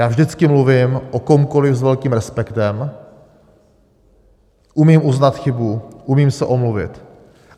Já vždycky mluvím o komkoli s velkým respektem, umím uznat chybu, umím se omluvit.